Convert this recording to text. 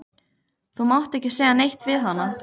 Þú mátt ekki segja neitt við hana.